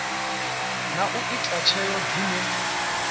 na u ita tsheo dzine